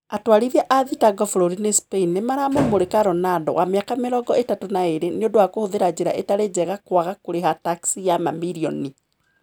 Atwarithia a thitango bũrũri-inĩ Spaini nimaramũmũrika Ronaldo, wa miaka mĩrongo itatũ na ĩrĩ, niundũ wa kũhũthĩra njira itari njega kũaga kũriha taxi ya mamirioni.